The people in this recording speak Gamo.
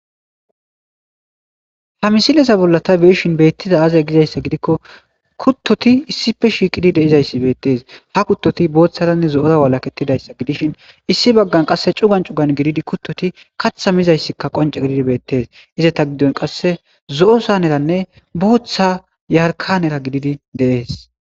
Ha misilezza bolla tabeyishin betizzay azze gidikko kutotti issippe shiqidayssi bettes ha kutotappe bothanne karethi dizayssi gidishin issi bagan cugan cugan kutoti katha mishe deyizayssi bettes qassi zo'o saneranne yarkana dizzayssi bettes.